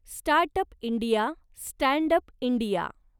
startup India, standup India